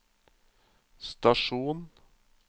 stasjon